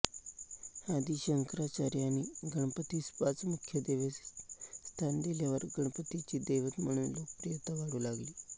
आदी शंकराचार्यांनी गणपतीस पाच मुख्य देवतेत स्थान दिल्यावर गणपतीची दैवत म्हणून लोकप्रियता वाढू लागली